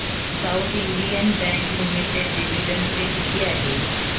south Indian Bank Limited dividend pay किती आहे